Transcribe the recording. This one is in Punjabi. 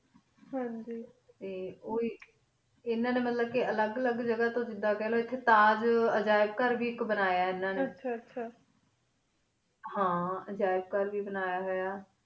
ਹਨ ਜੀ ਟੀ ਓ ਆਇਕ ਏਨਾ ਨੀ ਮਤਲਬ ਕੀ ਅਲਘ ਜਗ੍ਹਾ ਤੂੰ ਜਿਡਾ ਖਲੋ ਤਾਜ ਤਾਜ ਏਜਾਰ੍ਬ ਘੇਰ ਵੇ ਬਨਾਯਾ ਆਇਕ ਏਨਾ ਨੀ ਆਚਾ ਹਨ ਏਜੇਬ ਘੇਰ ਵੇ ਬਨਾਯਾ ਹੂਯ